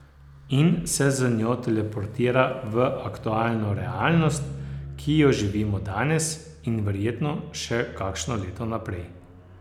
In se z njo teleportiral v aktualno realnost, ki jo živimo danes, in verjetno še kakšno leto naprej.